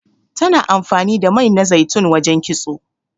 Tana amfani da mai na zaitun wajen kitso.